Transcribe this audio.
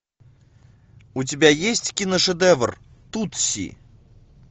у тебя есть киношедевр тутси